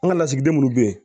An ka lasigiden minnu bɛ yen